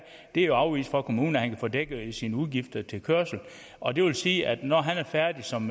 det er afvist af kommunen at han kan få dækket sine udgifter til kørsel og det vil sige at når han er færdig som